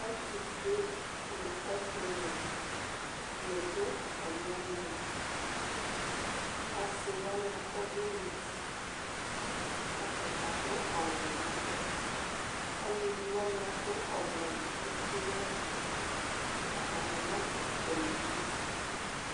Ɛtʋfue nʋ etʋwe ni dʋ atami ɔlvnali asiwabi akɔ ɔvlɛ nʋ ʋti kʋ atani adʋ awʋ nʋ ava alʋvi wani adʋ awʋ ʋti nʋ ava atani nadʋ ɛlɛnʋti